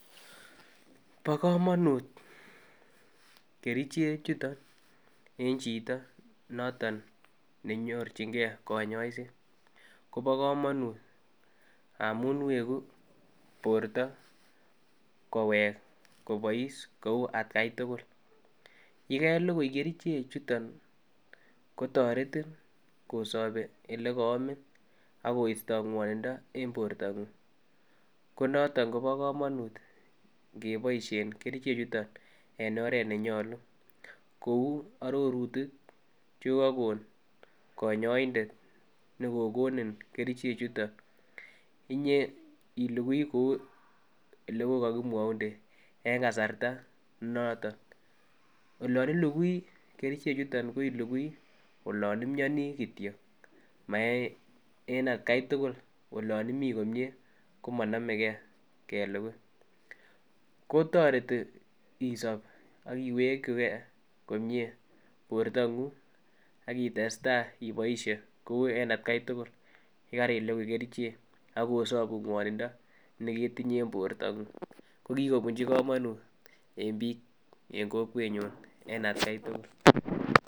Bo komonut kerichek chuton en chito noton nenyorchin gee konyoiset kobo komonut amun weku borto kowek kobois kou atgai tukul, yekelukui kerichek chuton kotoretin kosobi ole koomi ak koisto ngwonindo en borto nguny ko noton kobo komonut ngeboishen kerichek chuton en oret nenyolu kou ororutik chekokokon konyoindet nekokonin kerchek chuton iyoilukui kou ole ko kokimwounden en kasarta be noton. Olon ilukui kerichek chuton ko ilukui olon imionii kityok maaen atgai tukul olon imii komie komonogee kelukui, ko toreti isob ak iwekigee komie bortonguny ak ites tai iboishen kou en atgai tukul yekai lukui kerichek ak kosobun ngwonindo neketinye en bortonguny ko kikobunji komonut en bik en kokwenyun en atgai tukul.